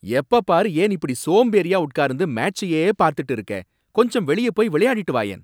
எப்பப் பாரு ஏன் இப்படி சோம்பேறியா உட்கார்ந்து மேட்ச்சையே பாத்துட்டு இருக்க? கொஞ்சம் வெளிய போய் விளையாடிட்டு வாயேன்.